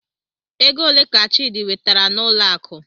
Ego ole ka Chidi wetere n'ụlọ akụ?